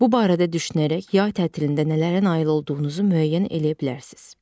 Bu barədə düşünərək yay tətilində nələrə nail olduğunuzu müəyyən eləyə bilərsiz.